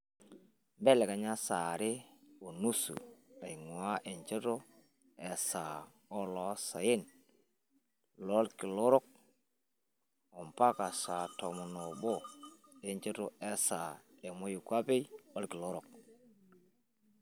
mbelekenya saa are o nusu aing'ua enchoto esaa oloosaen lorkilaorok ompaka saa tomon oobo enchoto esaa emoikwapi olkilorok